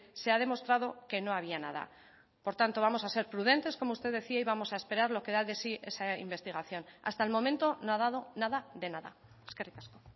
se ha demostrado que no había nada por tanto vamos a ser prudentes como usted decía y vamos a esperar lo que da de sí esa investigación hasta el momento no ha dado nada de nada eskerrik asko